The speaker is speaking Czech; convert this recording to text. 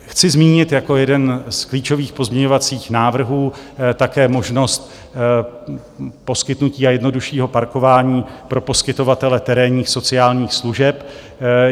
Chci zmínit jako jeden z klíčových pozměňovacích návrhů také možnost poskytnutí a jednoduššího parkování pro poskytovatele terénních sociálních služeb.